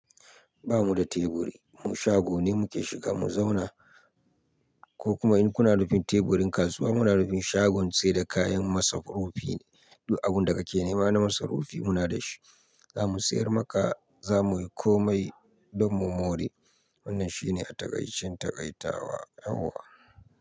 Ba mu da teburi, mu shago ne muke shiga mu zauna. Ko kuma in kuna nufin teburin kasuwa, muna nufin shagon sai da kayan masarufi ne, duk abin da kake nema na masarufi muna da shi. Za mu siyar maka, za mu yi komai don mu more. Wannan shi ne a taƙaicen taƙaita wa yawwa.